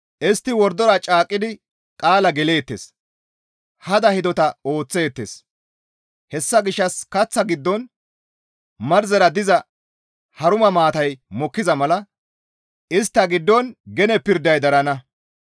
Istti wordora caaqqidi qaala geleettes; hada hidota ooththeettes; hessa gishshas kaththa giddon marzera diza haruma maatay mokkiza mala istta giddon gene pirday darana.